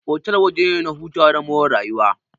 Otal waje ne na hutawa da more rayuwa.